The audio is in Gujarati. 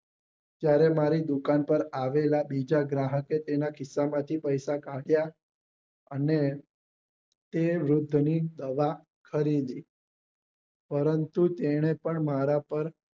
ત્યારે મારી દુકાન પર આવેલા બીજા ગ્રાહકે તેના ખિસ્સા માંથી પૈસા કાઢ્યા અને તે વૃદ્ધ ની દવા ખરીદી પરંતુ તેને પણ મારા પર